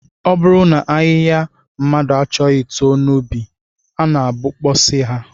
Ọ bụrụ na ahịhịa mmadụ achọghị too n'ubi, a na-abọpụsị ha